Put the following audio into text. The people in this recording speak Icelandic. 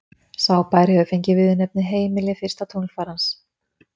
Sá bær hefur fengið viðurnefnið heimili fyrsta tunglfarans.